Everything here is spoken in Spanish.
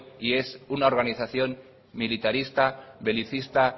y es una organización militarista belicista